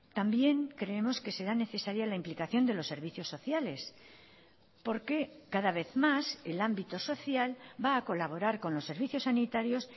también creemos que será necesaria la implicación de los servicios sociales porque cada vez más el ámbito social va a colaborar con los servicios sanitarios